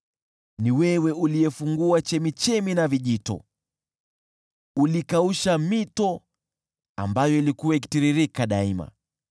Ni wewe uliyefungua chemchemi na vijito, ulikausha mito ambayo ilikuwa ikitiririka daima.